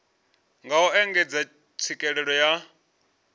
nga u engedza tswikelelo ya